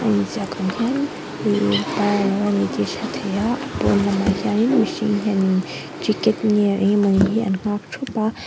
a inziak ang khian innn parlour a ni tih a hriat theih a a pâwn lamah hianin mihring hianin ticket nge eng emaw ni hi an nghâk ṭhup a--